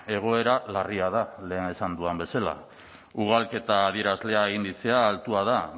egoera larria da lehen esan dudan bezala ugalketa adierazlea indizea altua da